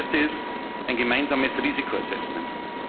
wollen. Das Erste ist ein gemeinsames Risiko Assessment.